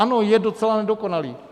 Ano, je docela nedokonalý.